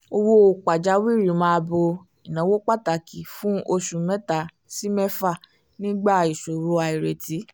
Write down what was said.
owó pàjáwìrì máa ń bo ináwó pàtàkì fún oṣù mẹ́ta sí mẹ́fà nígbà ìṣòro àìrètí